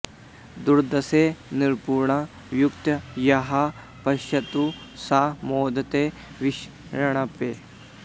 दुर्दर्शं निपुणं युक्तो यः पश्येत् स मोदेत विष्टपे